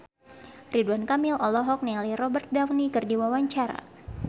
Ridwan Kamil olohok ningali Robert Downey keur diwawancara